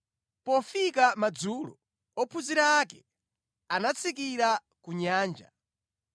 Pofika madzulo, ophunzira ake anatsikira ku nyanja,